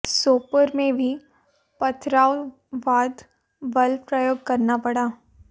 सोपोर में भी पथराव बाद बल प्रयोग करना पड़ा